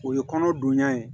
O ye kɔnɔ donya ye